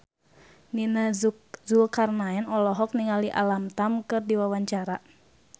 Nia Zulkarnaen olohok ningali Alam Tam keur diwawancara